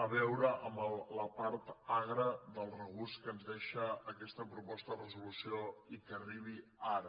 a veure amb la part agra del regust que ens deixa aquesta proposta de resolució i que arribi ara